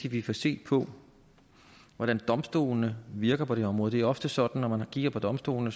at vi får set på hvordan domstolene virker på det her område det er ofte sådan at når man kigger på domstolene